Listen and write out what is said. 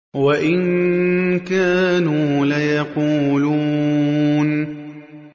وَإِن كَانُوا لَيَقُولُونَ